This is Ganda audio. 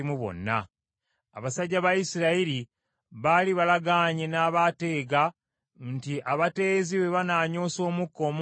Abasajja ba Isirayiri baali balagaanye n’abaateega nti abateezi bwe banaanyoosa omukka omungi mu kibuga,